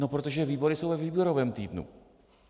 No protože výbory jsou ve výborovém týdnu.